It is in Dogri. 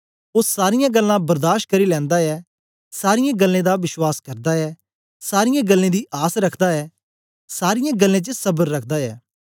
ओ सारीयां गल्लां बर्दाश करी लैंदा ऐ सारीयें गल्लें दा विश्वास करदा ऐ सारीयें गल्लें दी आस रखदा ऐ सारीयें गल्लें च सबर रखदा ऐ